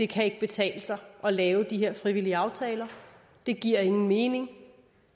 kan betale sig at lave de her frivillige aftaler det giver ingen mening